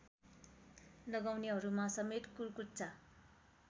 लगाउनेहरूमा समेत कुर्कुच्चा